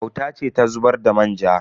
Auta ce ta zubar da manja.